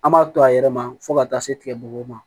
An b'a to a yɛrɛ ma fo ka taa se tigɛ bugɔgɔ ma